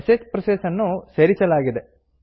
ಶ್ ಪ್ರೋಸೆಸ್ ನ್ನು ಸೇರಿಸಲಾಗಿದೆ